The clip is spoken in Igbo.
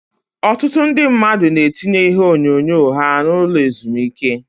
Ọtụtụ ndị mmadụ na-etinye ihe onyonyo ha n'ụlọ ezumike.